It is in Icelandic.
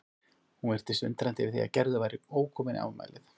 Hún virtist undrandi yfir því að Gerður væri ókomin í afmælið.